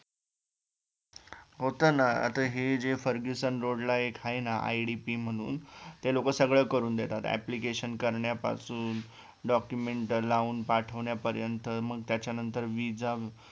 होतं ना आता हे जे फर्ग्युसन रोडला एक हाय ना idp म्हणून ते लोकं सगळं करून देतात APPLICATION करण्या पासून DOCUMENT लावून पाठ्वण्यापर्यंत मग त्याच्या नंतर VISA